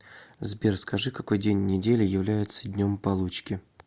сбер скажи какой день недели является днем получки